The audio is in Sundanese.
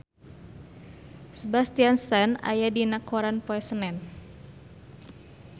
Sebastian Stan aya dina koran poe Senen